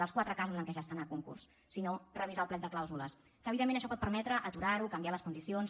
dels quatre casos en què ja estan a concurs sinó revisar el plec de clàusules que evidentment això pot permetre aturar ho canviar les condicions